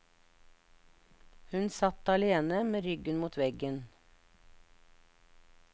Hun satt alene, med ryggen mot veggen.